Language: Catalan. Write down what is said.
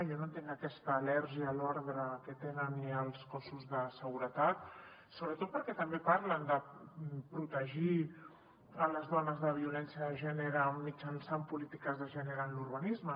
jo no entenc aquesta al·lèrgia a l’ordre que tenen i als cossos de seguretat sobretot perquè també parlen de protegir les dones de la violència de gènere mitjançant polítiques de gènere en l’urbanisme